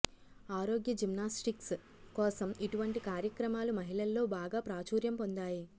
ఆరోగ్య జిమ్నాస్టిక్స్ కోసం ఇటువంటి కార్యక్రమాలు మహిళల్లో బాగా ప్రాచుర్యం పొందాయి